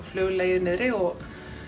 flug legið niðri og